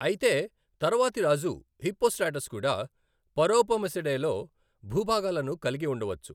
అయితే తరువాతి రాజు హిప్పోస్ట్రాటస్ కూడా పరోపమిసడేలో భూభాగాలను కలిగి ఉండవచ్చు.